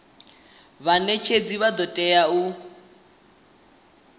vhanetshedzi vha do tea u